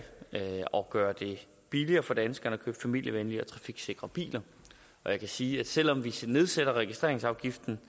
gøre det billigere for danskerne at købe familievenlige og trafiksikre biler jeg kan sige at selv om vi nedsætter registreringsafgiften